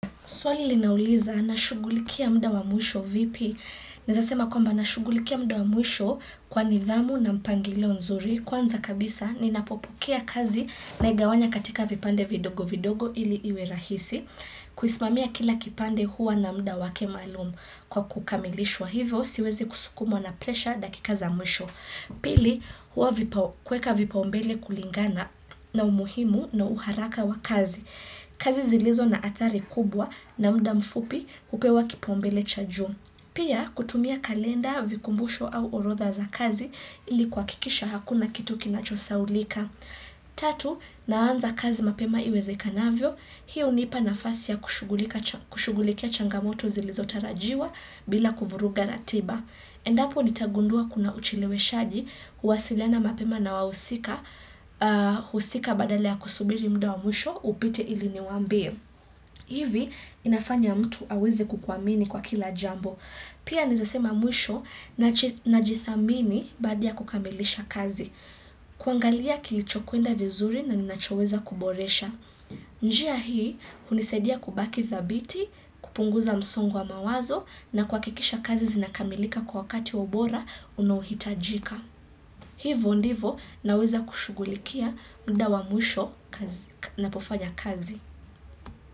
Swali linauliza na shugulikia mda wa mwisho vipi. Nezasema kwamba na shugulikia mda wa mwisho kwa nidhamu na mpangilo nzuri kwanza kabisa ni napopokea kazi na igawanya katika vipande vidogo-vidogo ili iwe rahisi. Kuismamia kila kipande huwa na mda wake malumu kwa kukamilishwa hivyo siwezi kusukumwa na presha dakika za mwisho. Pili huwa kweka vipaumbele kulingana na umuhimu na uharaka wa kazi. Kazi zilizo na athari kubwa na mda mfupi upewa kipaumbele cha juu. Pia kutumia kalenda, vikumbusho au orotha za kazi ilikuwa kikisha hakuna kitu kinachosaulika. Tatu, naanza kazi mapema iweze kanavyo. Hiyo hunipa nafasi ya kushugulikia changamoto zilizo tarajiwa bila kuvuruga ratiba. Endapo nitagundua kuna ucheleweshaji huwasiliana mapema na wausika badala ya kusubiri mda wa mwisho upite ili niwambie. Hivi inafanya mtu aweze kukuwamini kwa kila jambo. Pia nizasema mwisho na jithamini bada kukamilisha kazi. Kuangalia kilichokuenda vizuri na ninachoweza kuboresha. Njia hii kunisadia kubaki thabiti, kupunguza msongo wa mawazo na kwa kikisha kazi zinakamilika kwa wakati wa ubora unohitajika. Hivo ndivo naweza kushugulikia mda wa mwisho na pofanya kazi.